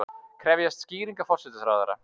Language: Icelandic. Krefjast skýringa forsætisráðherra